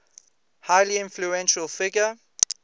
highly influential figure